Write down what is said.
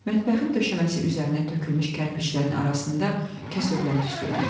Mətbəxin döşəməsi üzərinə tökülmüş kərpiçlərin arasında kəsövlər tüstülənirdi.